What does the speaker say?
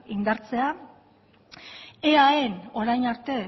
indartzea eaen orain arte